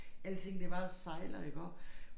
Alting det bare sejler iggå